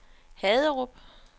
Haderup